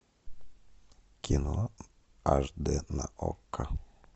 кино аш дэ на окко